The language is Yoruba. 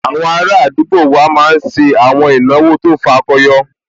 Àwọn ará àdúgbò wa máa n ṣe àwọn ìnáwó tó fakọyọ